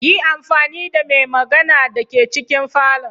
Yi amfani da mai magana da ke cikin falon.